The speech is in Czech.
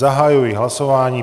Zahajuji hlasování.